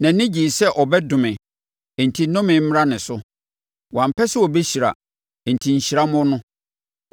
Nʼani gyee sɛ ɔbɛdome enti nnome mmra ne so; wampɛ sɛ ɔbɛhyira enti nhyira mmɔ no.